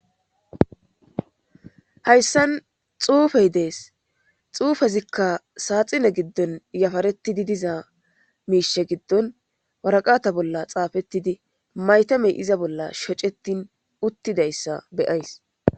hayssan xuufey dees xuufezikka saaxine giddon yafaretidi diza miishe giddon waraqata bolla xaafettidi maytamey iza bolla shocettin uttidayssa beyays